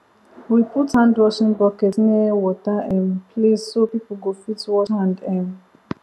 we put handwashing bucket near water um place so people go fit wash hand um